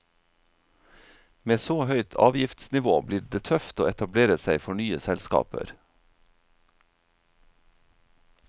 Med så høyt avgiftsnivå blir det tøft å etablere seg for nye selskaper.